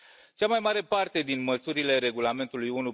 Cea mai mare parte din măsurile Regulamentului nr.